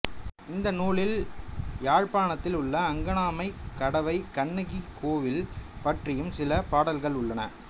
இந்த நூலில் யாழ்ப்பாணத்தில் உள்ள அங்கணாமைக் கடவை கண்ணகி கோவில் பற்றியும் சில பாடல்கள் உள்ளன